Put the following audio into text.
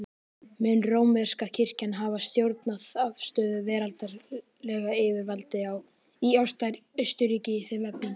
Mun rómverska kirkjan hafa stjórnað afstöðu veraldlegra yfirvalda í Austurríki í þeim efnum.